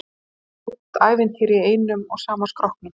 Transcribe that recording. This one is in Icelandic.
Þvílíkt ævintýri í einum og sama skrokknum.